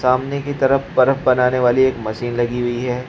सामने की तरफ बर्फ बनाने वाली एक मशीन लगी हुई है।